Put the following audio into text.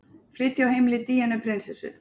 Flytja á heimili Díönu prinsessu